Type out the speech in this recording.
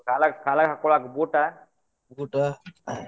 ಕಾಲಾಗ್ ಕಾಲಾಗ್ ಹಾಕ್ಕೊಳಾಕ್ boot ಆ.